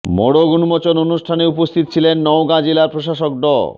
মোড়ক উন্মোচন অনুষ্ঠানে উপস্থিত ছিলেন নওগাঁ জেলার প্রশাসক ড